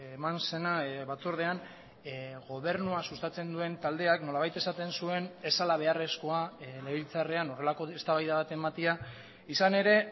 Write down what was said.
eman zena batzordean gobernua sustatzen duen taldeak nolabait esaten zuen ez zela beharrezkoa legebiltzarrean horrelako eztabaida bat ematea izan ere